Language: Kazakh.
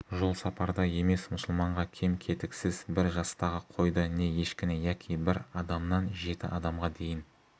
жолсапарда емес мұсылманға кем-кетіксіз бір жастағы қойды не ешкіні яки бір адамнан жеті адамға дейін